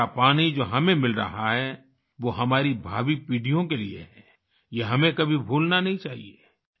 वर्षा का पानी जो हमें मिल रहा है वो हमारी भावी पीढ़ियों के लिए है ये हमें कभी भूलना नहीं चाहिए